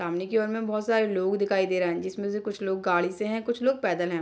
सामने की और में बहुत सारे लोग दिखाई दे रहें हैं जिसमें से कुछ लोग गाड़ी से हैं कुछ लोग पैदल हैं।